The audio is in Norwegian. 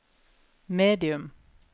medium